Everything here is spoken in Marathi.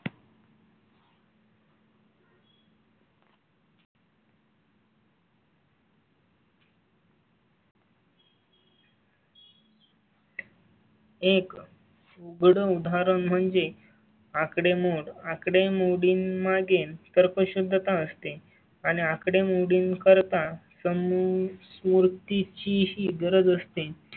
एक उदाहरण म्हणजे आकडे मोड आकडेमोडी मागेन तर्कशुद्धता असते आणि आकडेमोडीं करता समूह मूर्ती चीही गरज असते.